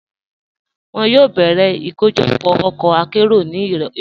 Wọn yóò bẹ̀rẹ̀ ikojọpọ̀ ọkọ àkéró ni irọ̀lẹ̀.